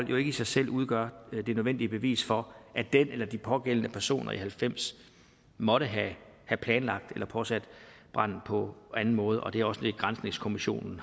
jo ikke i sig selv udgør det nødvendige bevis for at den eller de pågældende personer i nitten halvfems måtte have planlagt eller påsat branden på anden måde og det er også det granskningskommissionen